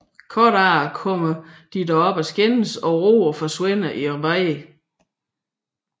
Kort efter kommer de dog op at skændes og Roger forsvinder i vrede